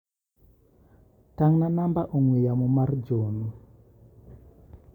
Tang'na namba ong'ue yamo mar John.